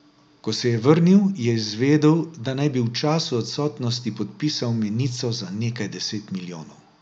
Ko se je vrnil, je izvedel, da naj bi v času odsotnosti podpisal menico za nekaj deset milijonov.